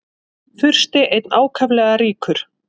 Fursti einn ákaflega ríkur.